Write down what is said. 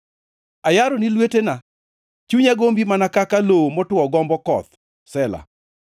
Ayaroni lwetena; chunya gombi mana kaka lowo motwo gombo koth. Sela